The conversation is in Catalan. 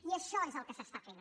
i això és el que s’està fent